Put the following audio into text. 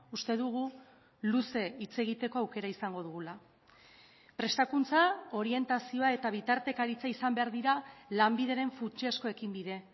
uste dugu luze hitz egiteko aukera izango dugula prestakuntza orientazioa eta bitartekaritza izan behar dira lanbideren funtsezko ekinbide